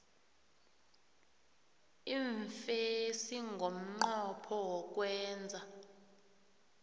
iimfesi ngomnqopho wokwenza